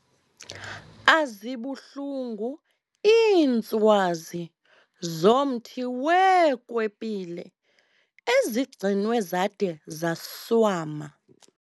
Azibuhlungu iintswazi zomthi weekwepile ezigcinwe zade zaswama.